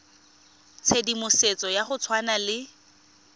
tshedimosetso ya go tshwana le